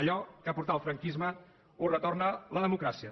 allò que portà el franquisme ho retorna la democràcia